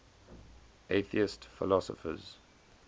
atheist philosophers